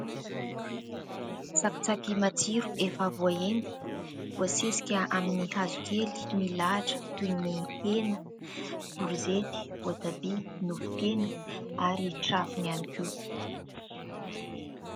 Tsakitsaky matsiro efa voahendy voasesika amin'ny hazokely milahatra toy ny hena, korizety, voatabia, nofon-kena ary trafony ihany koa.